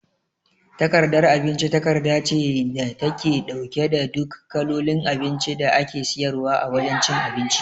Takardar abinci takarda ce da take ɗauke da duk kalolin abinci da ake siyarwa a wajan cin abinci